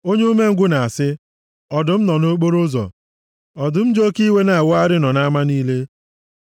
Onye umengwụ na-asị, “Ọdụm nọ nʼokporoụzọ, ọdụm ji oke iwe na-awagharị nọ nʼama niile!”